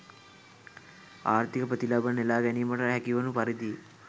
ආර්ථික ප්‍රතිලාභ නෙළා ගැනීමට හැකිවන පරිදි